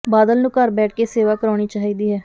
ਬਾਦਲ ਨੂੰ ਘਰ ਬੈਠ ਕੇ ਸੇਵਾ ਕਰਵਾਉਣੀ ਚਾਹੀਦੀ ਹੈ